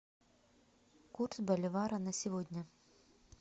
курс боливара на сегодня